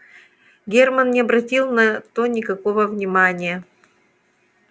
герман не обратил на то никакого внимания